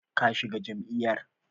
Ka shiga jam'iyyar?